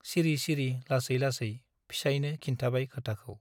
सिरि सिरि लासै लासै फिसाइनो खिन्थाबाय खोथाखौ ।